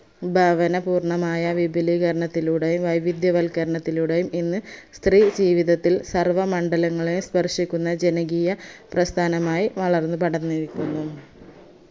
സംഭാവന പൂർണമായ വിപിലീകരണത്തിലൂടെ വൈവിധ്യവൽക്കരത്തിലൂടെയും ഇന്ന് സ്ത്രീ ജീവിതത്തിൽ സർവമണ്ഡലങ്ങളെ സ്പർശിക്കുന്ന ജനകീയ പ്രസ്ഥാനമായി വളർന്ന് പടന്നിരിക്കുന്നു